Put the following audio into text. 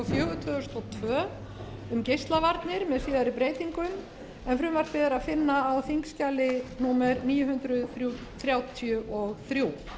tvö um geislavarnir með síðari breytingum en frumvarpið er að finna á þingskjali númer níu hundruð þrjátíu og þrjú